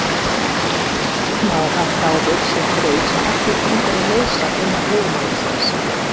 Segja má að frávik sé þraut sem ekki gengur að leysa innan viðmiðsins.